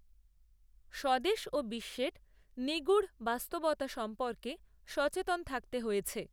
স্বদেশ ও বিশ্বের নিগুঢ় বাস্তবতা সম্পর্কে সচেতন থাকতে হয়েছে